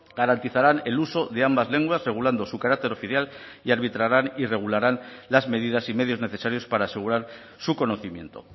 garantizarán el uso de ambas lenguas regulando su carácter oficial y arbitrarán y regularán las medidas y medios necesarios para asegurar su conocimiento